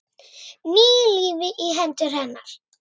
Ný lífi í hendur hennar.